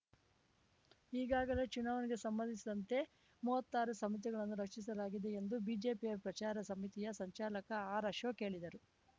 ಈಗಾಗಲೇ ಚುನಾವಣೆಗೆ ಸಂಬಂಧಿಸಿದಂತೆ ಮುವ್ವತ್ತಾರು ಸಮಿತಿಗಳನ್ನು ರಚಿಸಲಾಗಿದೆ ಎಂದು ಬಿಜೆಪಿಯ ಪ್ರಚಾರ ಸಮಿತಿಯ ಸಂಚಾಲಕ ಆರ್ ಅಶೋಕ್ ಹೇಳಿದರು